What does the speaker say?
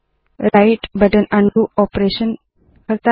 right button undo operation करता है